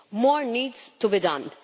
More needs to be done.